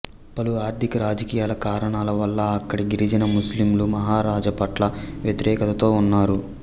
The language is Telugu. పలు ఆర్థిక రాజకీయ కారణాల వల్ల అక్కడి గిరిజన ముస్లింలు మహారాజు పట్ల వ్యతిరేకతతో ఉన్నారు